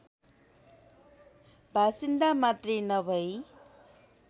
बासिन्दा मात्रै नभई